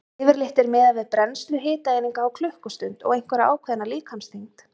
Yfirleitt er miðað við brennslu hitaeininga á klukkustund og einhverja ákveðna líkamsþyngd.